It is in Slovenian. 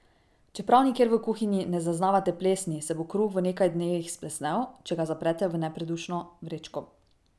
Čeprav nikjer v kuhinji ne zaznavate plesni, se bo kruh v nekaj dnevih splesnel, če ga zaprete v nepredušno vrečko.